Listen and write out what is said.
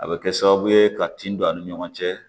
A bɛ kɛ sababu ye ka tin don a ni ɲɔgɔn cɛ